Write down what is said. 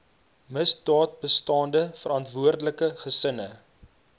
misdaadbestande verantwoordelike gesinne